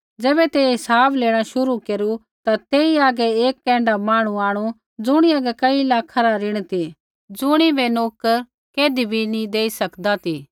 ज़ैबै तेइयै हिसाब लेणा शुरू केरू ता तेई हागै एक ऐण्ढा मांहणु आंणु ज़ुणी हागै कई लाखा रा ऋण ती ज़ुणिबै नोकर कैधी भी नी देई सकदा ती